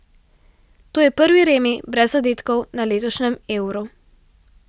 To je prvi remi brez zadetkov na letošnjem Euru.